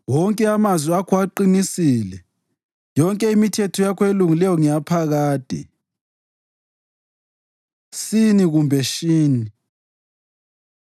Wonke amazwi akho aqinisile; yonke imithetho yakho elungileyo ngeyaphakade. ש Sin kumbe Shin